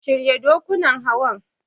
Shirya dokunan Hawan.